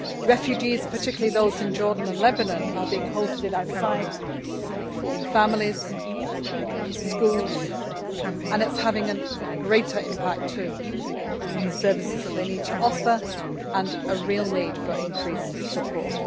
Refugees, particularly those in Jordan and Lebanon, are being hosted outside camps in families, in schools and it is having a greater impact too on the services that they need to offer and there is a real need for increased support.